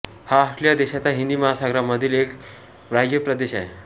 हा ऑस्ट्रेलिया देशाचा हिंदी महासागरामधील एक बाह्य प्रदेश आहे